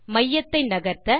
மையத்தை நகர்த்த